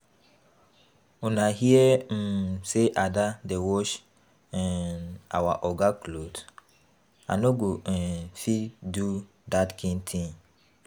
Una hear um say Ada dey wash um our Oga cloth? I no go um fit do dat kin thing